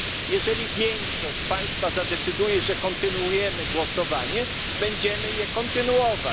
Jeżeli większość Państwa zadecyduje, że kontynuujemy głosowanie, będziemy je kontynuować.